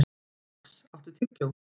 Max, áttu tyggjó?